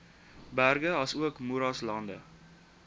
berge asook moeraslande